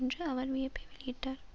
என்று அவர் வியப்பை வெளியிட்டார்